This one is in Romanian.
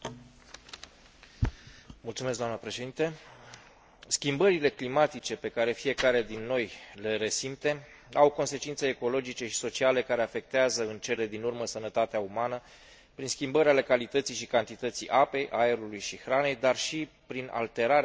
Schimbările climatice pe care fiecare din noi le resimte au consecințe ecologice și sociale care afectează în cele din urmă sănătatea umană prin schimbări ale calității și cantității apei, aerului și hranei, dar și prin alterarea tiparelor meteorologice, agricole și a ecosistemelor.